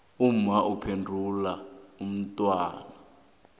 umma ubhebhula umntwana